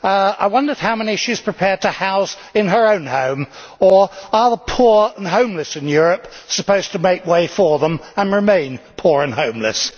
I wonder how many she is prepared to house in her own home or are the poor and homeless in Europe supposed to make way for them and remain poor and homeless?